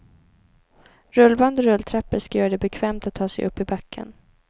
Rullband och rulltrappor ska göra det bekvämt att ta sig upp i backen.